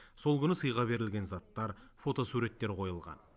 сол күні сыйға берілген заттар фотосуреттер қойылған